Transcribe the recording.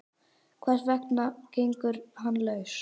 Hvers vegna gengur hann laus?